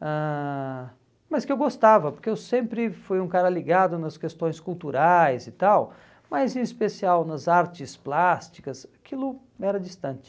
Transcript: ãh mas que eu gostava, porque eu sempre fui um cara ligado nas questões culturais e tal, mas em especial nas artes plásticas, aquilo era distante.